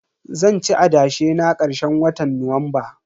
Zanci adashe na karshen watan Nuwamba.